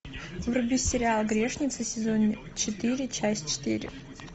вруби сериал грешницы сезон четыре часть четыре